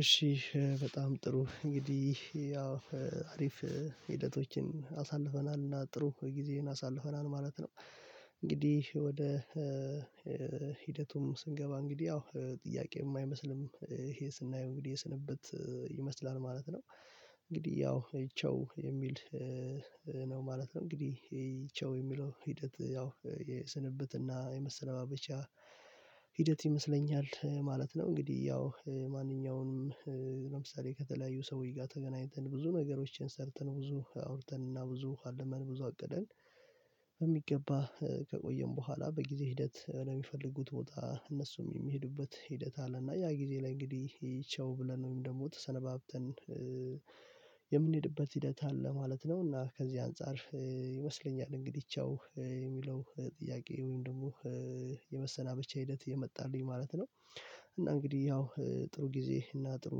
እሺ በጣም ጥሩ እንግዲህ ያው አሪፍ ሂደቶችን አሳልፈናል እና ጥሩ ጊዜን አሳልፈናል ማለት ነው። እንግዲህ ወደ ሂደቱም ስንገባ እንግዲህ ያው ጥያቄም አማይመስልም ይሄ ስናየው እንግዲህ የስንብት ይመስላል ማለት ነው። እንግዲህ ያው ቻው የሚል ነው ማለት ነው እንግዲህ ቻው የሚለው ሂደት ያው የስንብትና የመሰነባበቻ ሂደት ይመስለኛል ማለት ነው። እንግዲህ ያው ማንኛውም ለምሳሌ ከተለያዩ ሰዎች ጋር ተገናኝተን ብዙ ነገሮችን ሰርተን ብዙ አውርተን እና ብዙ አልመን ብዙ አቅደን በሚገባ ከቆየን በኋላ በጊዜ ሂደት የሚፈልጉት ቦታ እነሱም የሚሄዱበት ሂደት አለና ያ ጊዜ ላይ እንግዲህ ቻው ብለን ወይም ደግሞ ተሰነባብተን የምንሄድበት ሂደት አለ ማለት ነው። እና ከዚህ አንፃር ይመስለኛል እንግዲህ ቻው የሚለው ጥያቄ ወይም ደግሞ የመሰናበቻ ሂደት የመጣልኝ ማለት ነው። እና እንግዲህ ያው ጥሩ ጊዜ እና ጥሩ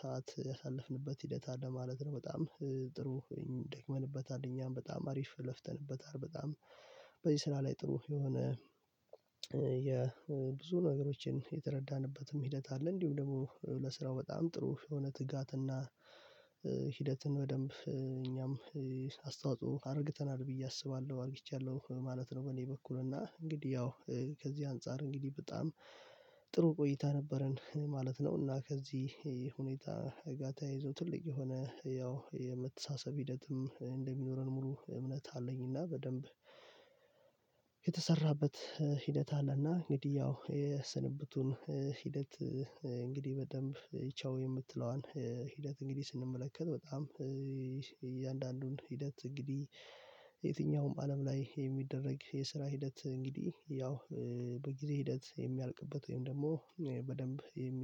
ሰዓት ያሳለፍንበት ሂደት አለ ማለት ነው። በጣም ጥሩ ደክመንበታል እኛም በጣም አሪፍ ለፍተንበታል በጣም በዚህ ስራ ላይ ጥሩ የሆነ የብዙ ነገሮችን የተረዳንበትም ሂደት አለ እንዲሁም ደግሞ ለስራው በጣም ጥሩ የሆነ ትጋትና ሂደትን በደንብ እኛም አስተዋጽኦ አርግተናል ብዬ አስባለሁ አርግቻለሁ ማለት ነው። በኔ በኩል እና እንግዲህ ያው ከዚህ አንፃር እንግዲህ በጣም ጥሩ ቆይታ ነበረን ማለት ነው። እና ከዚህ ሁኔታ ጋ ተያይዞ ትልቅ የሆነ ያው የመተሳሰብ ሂደትም እንደሚኖረን ሙሉ እምነት አለኝና። በደንብ የተሰራበት ሂደት አለና እንግዲህ ያው የስንብቱን ሂደት እንግዲህ በደንብ ቻው የምትለዋን ሂደት እንግዲህ ስንመለከት በጣም እያንዳንዱን ሂደት እንግዲህ የትኛውም አለም ላይ የሚደረግ የስራ ሂደት እንግዲህ ያው በጊዜ ሂደት የሚያልቅበት ወይም ደግሞ በደንብ የሚ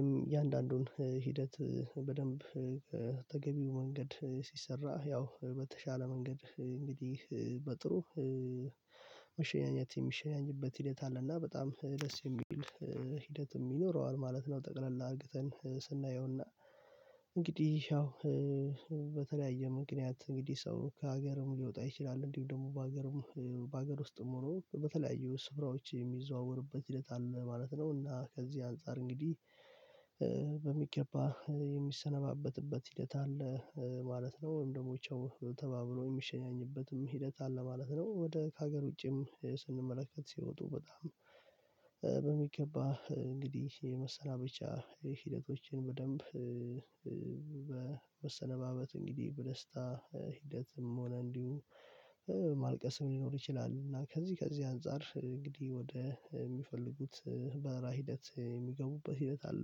እያንዳንዱን ሂደት በደንብ ተገቢው መንገድ ሲሰራ ያው በተሻለ መንገድ እንግዲህ በጥሩ መሸኛኘት የሚሸኛኝበት ሂደት አለ እና በጣም ደስ የሚል ሂደት ይኖረዋል ማለት ነው። ጠቅለል አድርገን ስናየውና እንግዲህ ያው በተለያየ ምክንያት እንግዲህ ሰው ከሀገርም ሊወጣ ይችላል እንዲሁ ደግሞ በሀገርም በሀገር ውስጥም ሆኖ በተለያዩ ስፍራዎች የሚዘዋወርበት ሂደት አለ ማለት ነው። እና ከዚህ አንፃር እንግዲህ በሚገባ የሚሰነባበትበት ሂደት አለ ማለት ነው። ወይም ደሞ ቻው ተባብሎ የሚሸኛኝበትም ሂደት አለ ማለት ነው። ወደ ከሀገር ውጪም ስንመለከት ሲወጡ በጣም በሚገባ እንግዲህ የመሰናበቻ ሂደቶችን በደንብ በመሰነባበት እንግዲህ በደስታ ሂደትም ሆነ እንዲሁ ማልቀስም ሊኖር ይችላል። እና ከዚህ ከዚህ አንፃር እንግዲህ ወደ ሚፈልጉት በረራ ሂደት የሚገቡበት ሂደት አለ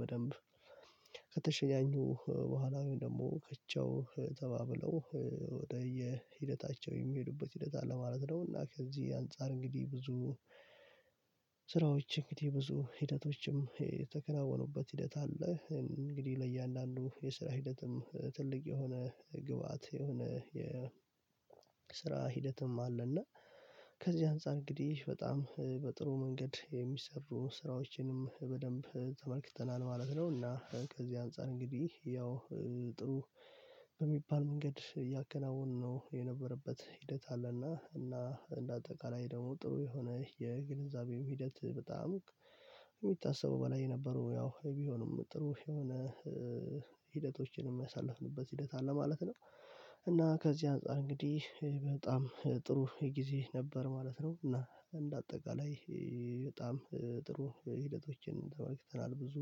በደንብ ከተሸኛኙ በኋላ ወይም ደግሞ ቻው ተባብለው ወደ የ ሂደታቸው የሚሄዱበት ሂደት አለ ማለት ነው። እና ከዚህ አንፃር እንግዲህ ብዙ ስራዎች እንግዲህ ብዙ ሂደቶችም የተከናወኑበት ሂደት አለ እንግዲህ ለእያንዳንዱ የስራ ሂደትም ትልቅ የሆነ ግብአት የሆነ የ ስራ ሂደትም አለ እና ከዚህ አንፃር እንግዲህ በጣም በጥሩ መንገድ የሚሰሩ ስራዎችንም በደንብ ተመልክተናል ማለት ነው። እና ከዚህ አንፃር እንግዲህ ያው ጥሩ በሚባል መንገድ ያከናወን ነው የነበረበት ሂደት አለና እና እንደ አጠቃላይ ደግሞ ጥሩ የሆነ የግንዛቤው ሂደት በጣም ከሚታሰበው በላይ ነበረው ያው ቢሆንም ጥሩ የሆነ ሂደቶችንም ያሳለፍንበት ሂደት አለ ማለት ነው። እና ከዚህ አንፃር እንግዲህ በጣም ጥሩ ጊዜ ነበር ማለት ነው። እና እንደ አጠቃላይ በጣም ጥሩ ሂደቶችን ተመልክተናል ብዙ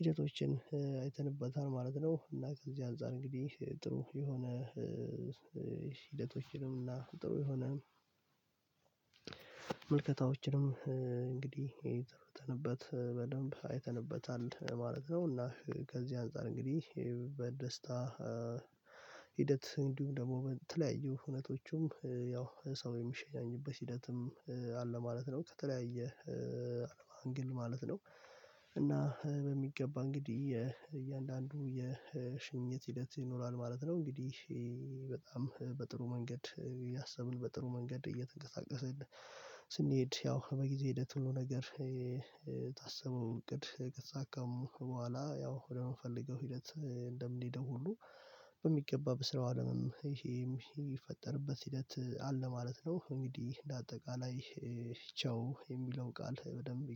ሂደቶችን አይተንበታል ማለት ነው። እና ከዚህ አንፃር እንግዲህ ጥሩ የሆነ ሂደቶችንም እና ጥሩ የሆነ ምልከታዎችንም እንግዲህ የተነተንበት በደንብ አይተንበታል ማለት ነው። እና ከዚህ አንፃር እንግዲህ በደስታ ሂደት እንዲሁም ደግሞ በተለያዩ ሁነቶቹም ያው ሰው የሚሸኛኝበት ሂደትም አለ ማለት ነው። ከተለያየ አንግል ማለት ነው እና በሚገባ እንግዲህ እያንዳንዱ የሽኝት ሂደት ይኖራል ማለት ነው። እንግዲህ በጣም በጥሩ መንገድ ያሰብን በጥሩ መንገድ እየተንቀሳቀስን ስንሄድ ያው በጊዜ ሂደት ሁሉ ነገር የታሰበው እቅድ ከተሳካም በኋላ ያው ወደምንፈልገው ሂደት እንደምንሄደው ሁሉ በሚገባ በስራው አለምም ይሄም ሚፈጠርበት ሂደት አለ ማለት ነው። እንግዲህ እንደ አጠቃላይ ቻው የሚለው ቃል በደንብ